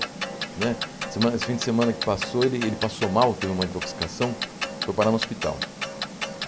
Né semana esse fim de semana que passou, ele ele passou mal, teve uma intoxicação, foi parar no hospital.